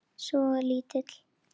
Svo lítill.